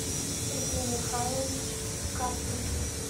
сергей михайлович каплин